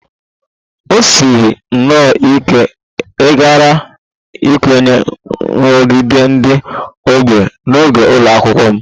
O siri nnọọ ike ịghara ikwenye nrụgide ndị ọgbọ n'oge ụlọ akwụkwọ m